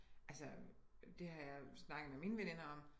Altså det har jeg snakket med mine veninder om